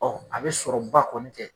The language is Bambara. Ɔ a bɛ sɔrɔ ba kɔni tɛ.